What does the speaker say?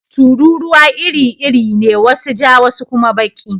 Tururuwa iri-iri ne, wasu ja wasu kuma baki.